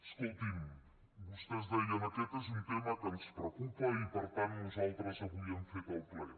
escoltin vostès deien aquest és un tema que ens preocupa i per tant nosaltres avui hem fet el ple